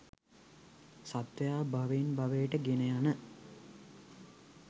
සත්වයා භවයෙන් භවයට ගෙන යන